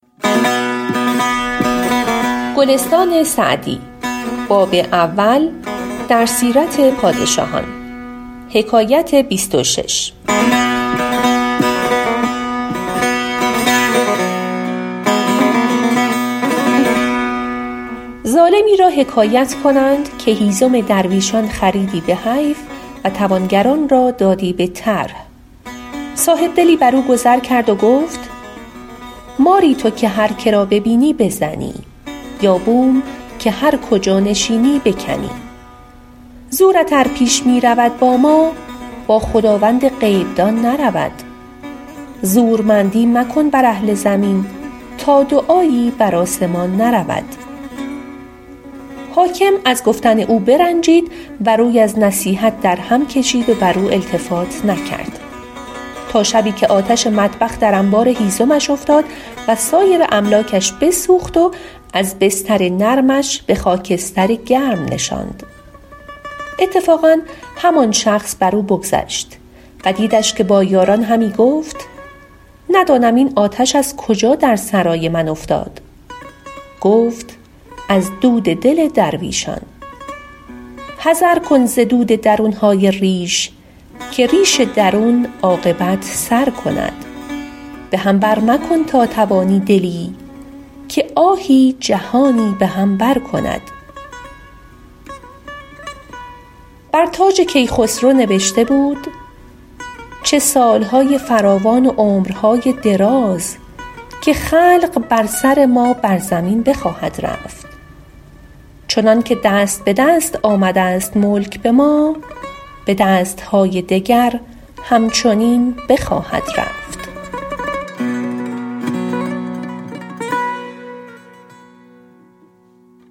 ظالمی را حکایت کنند که هیزم درویشان خریدی به حیف و توانگران را دادی به طرح صاحبدلی بر او گذر کرد و گفت ماری تو که هر که را ببینی بزنی یا بوم که هر کجا نشینی بکنی زورت ار پیش می رود با ما با خداوند غیب دان نرود زورمندی مکن بر اهل زمین تا دعایی بر آسمان نرود حاکم از گفتن او برنجید و روی از نصیحت او در هم کشید و بر او التفات نکرد تا شبی که آتش مطبخ در انبار هیزمش افتاد و سایر املاکش بسوخت وز بستر نرمش به خاکستر گرم نشاند اتفاقا همان شخص بر او بگذشت و دیدش که با یاران همی گفت ندانم این آتش از کجا در سرای من افتاد گفت از دل درویشان حذر کن ز درد درون های ریش که ریش درون عاقبت سر کند به هم بر مکن تا توانی دلی که آهی جهانی به هم بر کند بر تاج کیخسرو نبشته بود چه سال های فراوان و عمر های دراز که خلق بر سر ما بر زمین بخواهد رفت چنان که دست به دست آمده ست ملک به ما به دست های دگر هم چنین بخواهد رفت